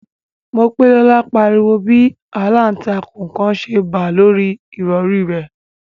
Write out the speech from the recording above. Mopelola pariwo bi àlàntakùn kan ṣe ba lori ìrọri rẹ